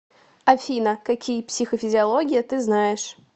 афина какие психофизиология ты знаешь